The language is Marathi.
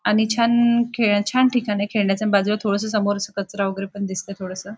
आणि छान खेळ छान ठिकाण आहे. खेळण्याच बाजूला थोडसं समोर अस कचरा वैगेरे पण दिसतंय थोडसं.